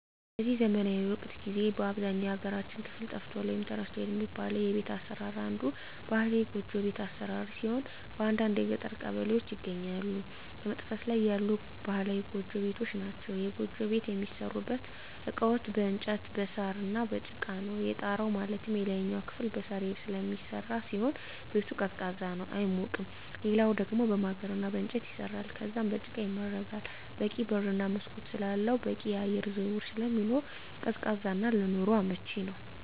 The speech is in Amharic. በዚህ ዘመናዊ ወቅት ጊዜ በአብዛኛው የሀገራችን ክፍል ጠፍቷል ወይም ተረስቷል የሚባለው የቤት አሰራር አንዱ ባህላዊ ጎጆ ቤት አሰራር ሲሆን በአንዳንድ የገጠር ቀበሌዎች ይገኛሉ በመጥፋት ላይ ያሉ ባህላዊ ጎጆ ቤቶች ናቸዉ። የጎጆ ቤት የሚሠሩበት እቃዎች በእንጨት እና በሳር፣ በጭቃ ነው። የጣራው ማለትም የላይኛው ክፍል በሳር ስለሚሰራ ሲሆን ቤቱ ቀዝቃዛ ነው አይሞቅም ሌላኛው ደሞ በማገር እና በእንጨት ይሰራል ከዛም በጭቃ ይመረጋል በቂ በር እና መስኮት ስላለው በቂ የአየር ዝውውር ስለሚኖር ቀዝቃዛ እና ለኑሮ አመቺ ነው።